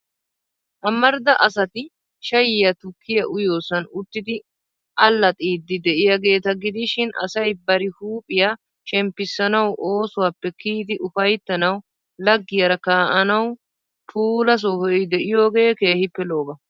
Amarida asati shayiyaa tukkiyaa uyiyoosan uttidi allaxxiiddi de'iyaageeta gidishin, asay bari huuphiyaa shemppissanawu, oosuwaappe kiyidi ufayttanawu, laggiyaara kaa'anawu puula sohoy de'iyoogee keehippe lo'oba.